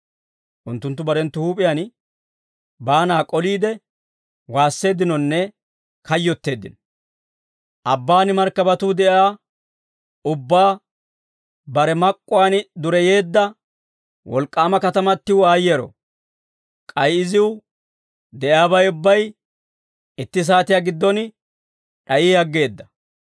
Unttunttu barenttu huup'iyaan baana k'oliide, waasseeddinonne kayyotteeddino; «Abbaan markkabatuu de'iyaa ubbaa, bare mak'uwaan dureyeedda, wolk'k'aama katamatiw aayyeero! K'ay iziw de'iyaabay ubbay itti saatiyaa giddon d'ayi aggeeda.